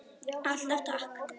Alltaf takk.